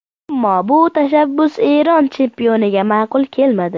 Ammo bu tashabbus Eron chempioniga ma’qul kelmadi.